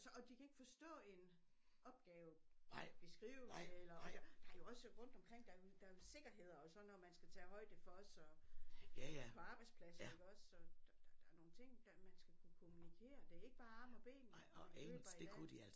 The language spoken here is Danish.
Og de kan ikke forstå en opgave beskrivelse eller og der er jo også rundt omkring der er jo der er jo sikkerheder og sådan noget man skal tage højde for også og på arbejdspladsen iggås og der er nogle ting der man skal kunne kommunikere det er ikke bare arme og ben man køber i dag